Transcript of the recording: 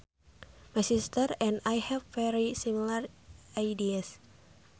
My sister and I have very similar ideas